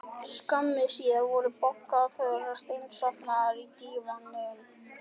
Skömmu síðar voru Bogga og Þura steinsofnaðar á dívaninum.